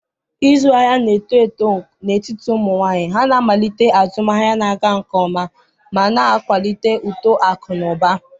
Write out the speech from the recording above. ịzụ ahịa na-eto eto n'etiti ụmụ nwanyị. Ha na-amalite azụmahịa na-aga nke ọma ma na-akwalite uto akụ na ụba.